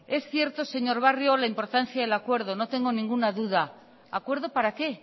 es cierto señor barrio la importancia del acuerdo no tengo ninguna duda acuerdo para qué